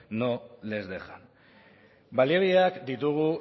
no les dejan baliabideak ditugu